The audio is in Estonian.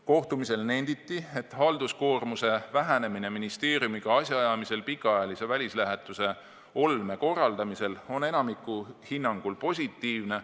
Kohtumisel nenditi, et halduskoormuse vähenemine ministeeriumiga asjaajamisel pikaajalise välislähetuse olme korraldamisel on enamiku hinnangul positiivne.